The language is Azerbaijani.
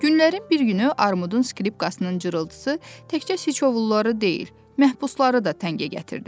Günlərin bir günü Armudun skripkasının cırıltısı təkcə siçovulları deyil, məhbusları da təngə gətirdi.